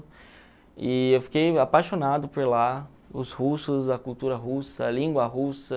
E eu fiquei apaixonado por lá, os russos, a cultura russa, a língua russa.